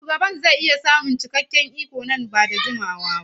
Shugaban zai iya samun cikakken iko nan ba da jimawa ba.